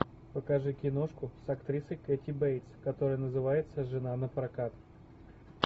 покажи киношку с актрисой кэти бейтс которая называется жена напрокат